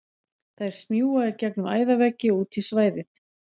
Þær smjúga í gegnum æðaveggi og út í svæðið.